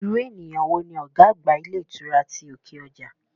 Irú ènìyàn wo ni ọ̀gá àgbà ilé ìtura ti òkè ọjà?